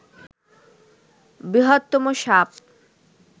বৃহত্তম সাপ